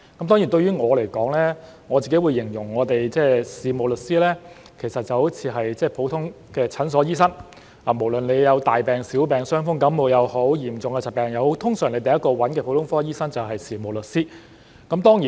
當然，對我來說，我會形容事務律師就好像普通的診所醫生，無論大病、小病，傷風感冒也好，嚴重的疾病也好，通常第一個找的就是普通科醫生，這就有如事務律師。